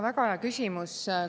Väga hea küsimus.